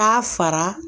Taa fara